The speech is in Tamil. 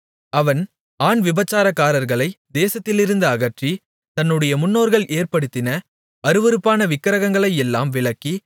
அவன் ஆண் விபசாரக்காரர்களை தேசத்திலிருந்து அகற்றி தன்னுடைய முன்னோர்கள் ஏற்படுத்தின அருவருப்பான விக்கிரகங்களையெல்லாம் விலக்கி